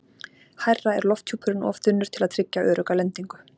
Hærra er lofthjúpurinn of þunnur til að tryggja örugga lendingu.